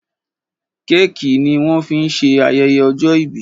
Kéèkì ní wón fín ṣe ayẹyẹ ojó ibí